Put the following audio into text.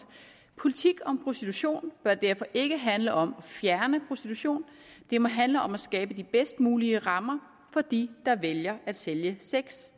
politik om prostitution bør derfor ikke handle om at fjerne prostitution det må handle om at skabe de bedst mulige rammer for de der vælger at sælge sex